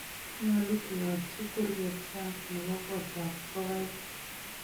nyolu keyaatyi kurget sang nebo kotab ngogaik